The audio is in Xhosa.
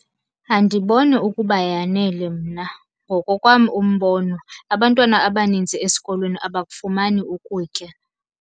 Andiboni ukuba yanele mna. Ngokokwam umbono abantwana abanintsi esikolweni abakufumani ukutya.